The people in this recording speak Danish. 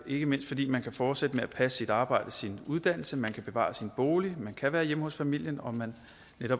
ikke mindst fordi man kan fortsætte med at passe sit arbejde og sin uddannelse man kan bevare sin bolig man kan være hjemme hos familien og man